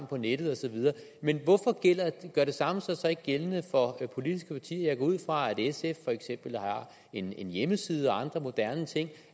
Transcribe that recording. på nettet og så videre men hvorfor gør det samme sig så ikke gældende for politiske partier jeg går ud fra at sf for eksempel har en hjemmeside og andre moderne ting